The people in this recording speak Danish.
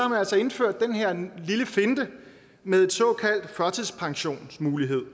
man altså indført den her lille finte med en såkaldt førtidspensionsmulighed